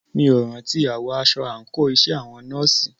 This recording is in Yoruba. Mí ò rántí àwọ̀ aṣọ àńkò iṣẹ́ àwọn nọ́ọ̀sì.